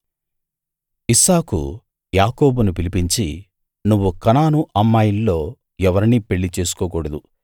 ఇస్సాకు యాకోబును పిలిపించి నువ్వు కనాను అమ్మాయిల్లో ఎవరినీ పెళ్ళి చేసుకోకూడదు